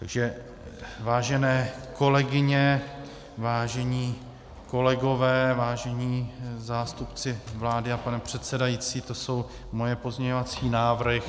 Takže vážené kolegyně, vážení kolegové, vážení zástupci vlády a pane předsedající, to jsou moje pozměňovací návrhy.